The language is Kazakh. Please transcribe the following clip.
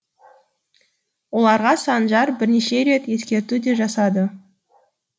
оларға санжар бірнеше рет ескерту де жасады